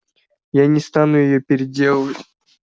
я не стану её переделывать